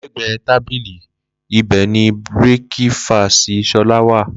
Lẹ gbẹ tàbílì, Ibẹ ni bìrífíkẹsí sólá wà.